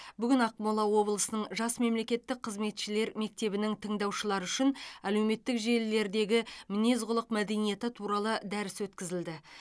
бүгін ақмола облысының жас мемлекеттік қызметшілер мектебінің тыңдаушылары үшін әлеуметтік желілердегі мінез құлық мәдениеті туралы дәріс өткізілді